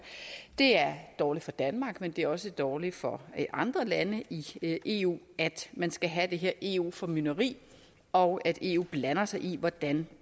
det er dårligt for danmark men det er også dårligt for andre lande i eu at man skal have det her eu formynderi og at eu blander sig i hvordan